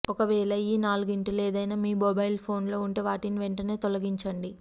ఒకవేళ ఈ నాలుగింటిలో ఏదైనా మీ మొబైల్ ఫోన్ లో ఉంటే వాటిని వెంటనే తొలగించండి